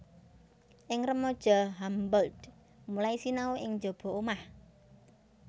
Ing remaja Humboldt mulai sinahu ing jaba omah